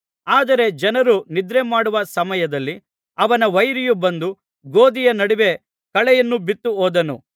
ಆದರೆ ಜನರು ನಿದ್ರೆ ಮಾಡುವ ಸಮಯದಲ್ಲಿ ಅವನ ವೈರಿಯು ಬಂದು ಗೋದಿಯ ನಡುವೆ ಕಳೆಯನ್ನು ಬಿತ್ತಿ ಹೋದನು